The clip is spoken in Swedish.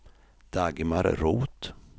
Dagmar Roth